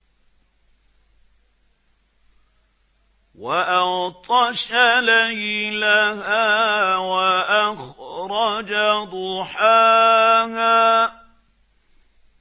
وَأَغْطَشَ لَيْلَهَا وَأَخْرَجَ ضُحَاهَا